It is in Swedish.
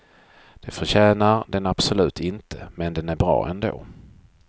Det förtjänar den absolut inte, men den är bra ändå.